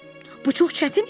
Bu çox çətin işdir.